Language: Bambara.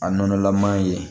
A nɔnɔlaman ye